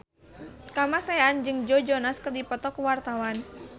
Kamasean jeung Joe Jonas keur dipoto ku wartawan